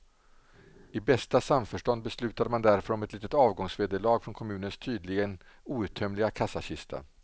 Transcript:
I bästa samförstånd beslutade man därför om ett litet avgångsvederlag från kommunens tydligen outtömliga kassakista.